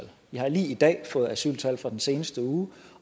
jeg har lige i dag fået asyltal fra den seneste uge